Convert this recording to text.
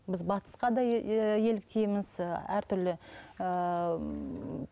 біз батысқа да еліктейміз і әртүрлі ііі